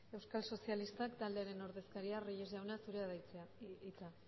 euskal sozialistak taldearen ordezkariak reyes jauna zurea da hitza